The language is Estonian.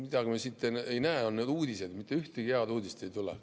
Mida me siit ei näe, on uudised, mitte ühtegi head uudist ei tule.